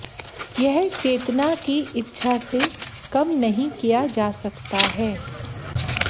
यह चेतना की इच्छा से कम नहीं किया जा सकता है